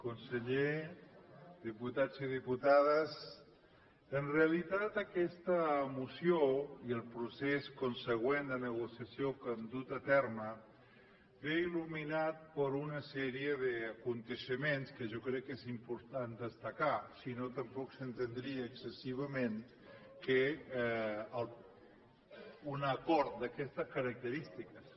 conseller diputats i diputades en realitat aquesta moció i el procés consegüent de negociació que hem dut a terme ve il·luminat per una sèrie d’esdeveniments que jo crec que és important destacar si no tampoc s’entendria excessivament un acord d’aquestes característiques